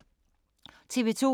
TV 2